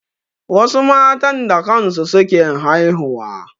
Wasu matan da kan su suke haihuwa.